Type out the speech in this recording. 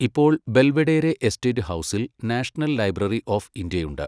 ഇപ്പോൾ, Belvedere estate ഹൌസിൽ national library of India ഉണ്ട്.